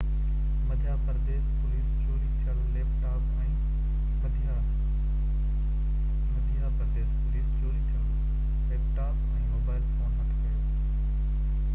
Madhya Pradesh police چوري ٿيل laptop ۽ mobile phone هٿ ڪيو